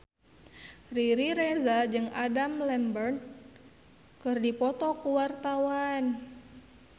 Riri Reza jeung Adam Lambert keur dipoto ku wartawan